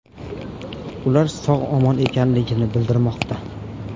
Ular sog‘-omon ekanligi bildirilmoqda.